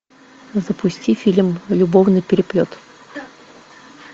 запусти фильм любовный переплет